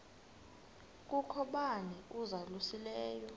kukho bani uzalusileyo